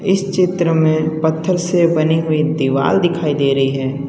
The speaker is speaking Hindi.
इस चित्र में पत्थर से बनी हुई दीवाल दिखाई दे रही है।